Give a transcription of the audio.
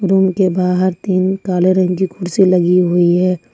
Room के बाहर तीन काले रंग की कुर्सी लगी हुई है।